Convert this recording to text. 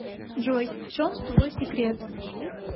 джой в чем твой секрет